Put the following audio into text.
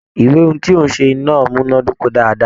Ìwé ohùn tí ń ó ṣe náà múnàdoko dáadáa.